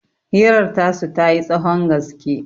hirar tasu ta yi tsahon gaske